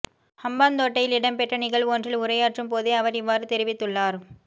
ஹம்பாந்தோட்டையில் இடம்பெற்ற நிகழ்வொன்றில் உரையாற்றும் போதே அவர் இவ்வாறு தெரிவித்துள்ளார்